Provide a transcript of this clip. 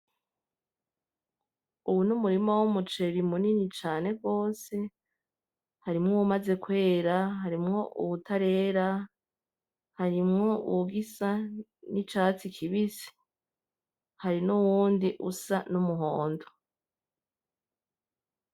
Uwu numurima w'umuceri munini cane gose, harimwo uwumaze kwera, harimwo uwutarera, harimwo uwugisa nicyatsi kibisi, harinuwundi usa numuhondo.